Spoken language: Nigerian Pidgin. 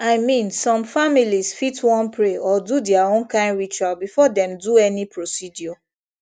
i mean some families fit wan pray or do their own kind ritual before dem do any procedure